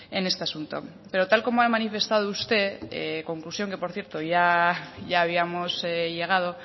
en este asunto pero tal y como ha manifestado usted conclusión a la que por cierto ya habíamos llegado